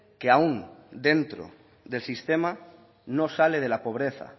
que aún dentro del sistema no sale de la pobreza